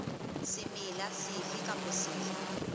semela sefe kapa sefe se